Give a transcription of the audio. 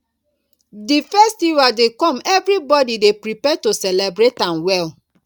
di festival dey come everybody dey prepare to celebrate am well